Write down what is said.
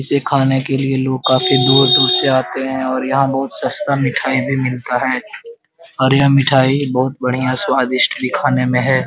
इसे खाने के लिए लोग काफी दूर-दूर से आते है और यहाँ बहुत सस्ता मिठाई भी मिलता है और यह मिठाई बहुत बढ़िया भी स्वादिष्ठ खाने में है।